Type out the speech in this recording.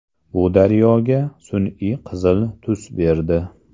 Bu daryoga sun’iy qizil tus berdi.